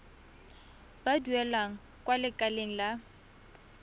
ba duelang kwa lekaleng la